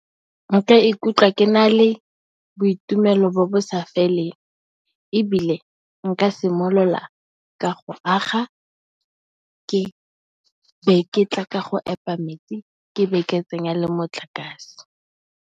Nka ikutlwa ke na le boitumelo bo bo sa feleng ebile, nka simolola ka go aga, ke be ke tla ka go epa metsi ke be ke tsenya le motlakase.